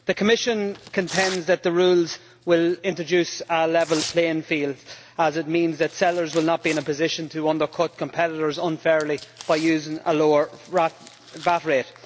The Commission contends that the rules will introduce a level playing field, as they mean that sellers will not be in a position to undercut competitors unfairly by using a lower VAT rate.